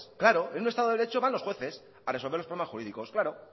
claro en un estado de derecho van los jueces a resolver los problemas jurídicos claro